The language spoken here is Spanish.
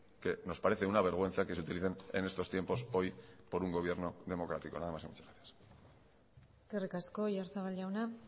que nos parece una vergüenza que se utilicen en estos tiempos hoy por un gobierno democrático nada más muchas gracias eskerrik asko oyarzabal jauna